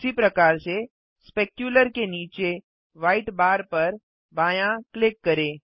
उसी प्रकार से स्पेक्यूलर के नीचे व्हाइट बार पर बायाँ क्लिक करें